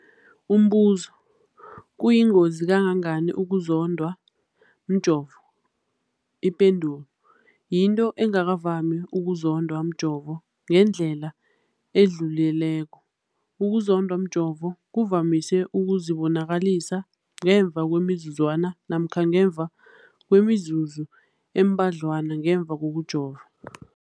Umbuzo, kuyingozi kangangani ukuzondwa mjovo? Ipendulo, yinto engakavami ukuzondwa mjovo ngendlela edluleleko. Ukuzondwa mjovo kuvamise ukuzibonakalisa ngemva kwemizuzwana namkha ngemva kwemizuzu embadlwana ngemva kokujova.